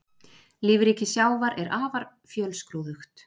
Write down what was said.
Lífríki sjávar er afar fjölskrúðugt.